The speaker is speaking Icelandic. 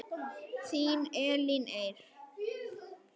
Þín Elín Eir.